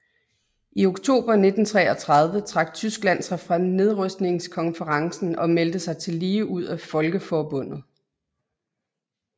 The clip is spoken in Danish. I oktober 1933 trak Tyskland sig fra nedrustningskonferencen og meldte sig tillige ud af Folkeforbundet